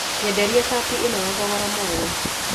Nyenderia cati ĩno na thogora mwega.